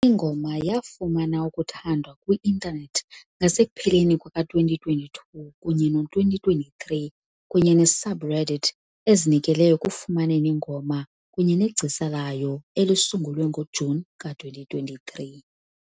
Ingoma yafumana ukuthandwa kwi-intanethi ngasekupheleni kuka-2022 kunye no-2023, kunye ne -subreddit ezinikele ekufumaneni ingoma kunye negcisa layo elisungulwe ngoJuni ka-2023.